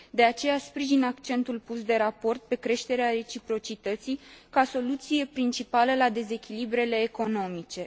De aceea, sprijin accentul pus de raport pe creșterea reciprocității ca soluție principală la dezechilibrele economice.